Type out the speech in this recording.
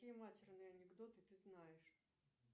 какие матерные анекдоты ты знаешь